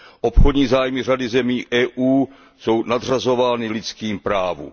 Obchodní zájmy řady zemí EU jsou nadřazovány lidským právům.